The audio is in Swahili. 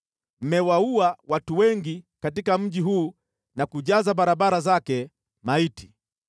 Mmewaua watu wengi katika mji huu na kujaza barabara zake maiti.